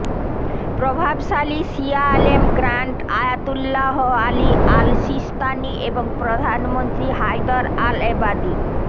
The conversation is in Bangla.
প্রভাবশালী শিয়া আলেম grand Ayatollah Ali al Sistani এবং প্রধানমন্ত্রী হায়দার আল এবাদি